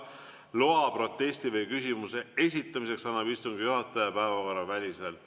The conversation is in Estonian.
Loa protesti või küsimuse esitamiseks annab istungi juhataja päevakorraväliselt.